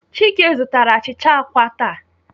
Chike zụtara achịcha àkwá taa.